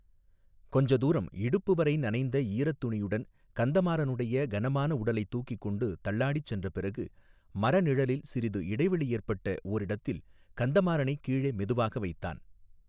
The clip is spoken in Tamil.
கொஞ்ச தூரம் இடுப்பு வரை நனைந்த ஈரத் துணியுடன் கந்தமாறனுடைய கனமான உடலைத் தூக்கிக் கொண்டு தள்ளாடிச் சென்ற பிறகு மரநிழலில் சிறிது இடைவெளி ஏற்பட்ட ஓரிடத்தில் கந்தமாறனைக் கீழே மெதுவாக வைத்தான்.